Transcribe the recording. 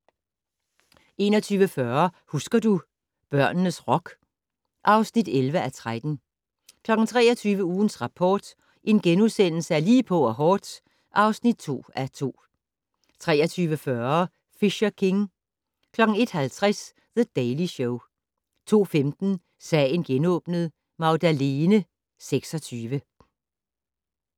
21:40: Husker du - børnenes rock (11:13) 23:00: Ugens Rapport: Lige på og hårdt (2:2)* 23:40: Fisher King 01:50: The Daily Show 02:15: Sagen genåbnet: Magdalene 26